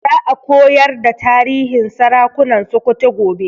Za a koyar da tarihin sarakunan Sokoto gobe